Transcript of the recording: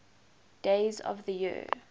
days of the year